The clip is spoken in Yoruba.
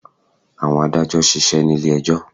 Àwọn adàjọ̀ ṣisẹ́ ní ilé ẹjọ́.